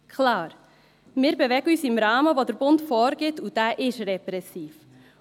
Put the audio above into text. Klar, wir bewegen uns im Rahmen, den der Bund vorgibt, und dieser ist repressiv.